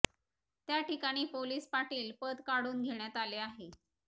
त्या ठिकाणी पोलीस पाटील पद काढून घेण्यात आले आहे